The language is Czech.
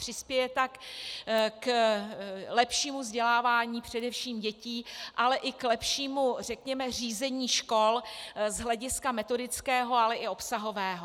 Přispěje tak k lepšímu vzdělávání především dětí, ale i k lepšímu řízení škol z hlediska metodického, ale i obsahového.